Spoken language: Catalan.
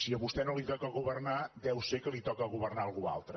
a vostè no li toca governar deu ser que li toca governar a algú altre